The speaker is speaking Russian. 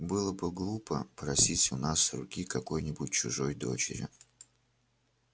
было бы глупо просить у нас руки какой-нибудь чужой дочери